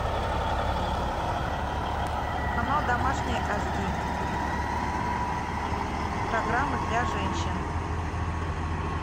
канал домашний аш ди программы для женщин